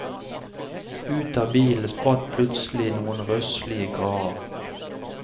Ut av bilen spratt plutselig noen røslige karer.